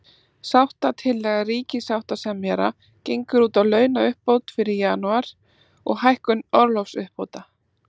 Sáttatillaga ríkissáttasemjara gengur út á launauppbót fyrir janúar, og hækkun orlofsuppbóta.